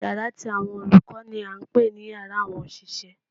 Yàrá ti àwọn olùkó ni à n pè ní yàrá àwọn òṣìṣẹ́